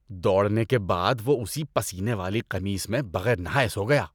دوڑنے کے بعد وہ اسی پسینے والی قمیص میں بغیر نہائے سو گیا۔